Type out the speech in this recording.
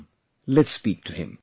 Come, let's speak to him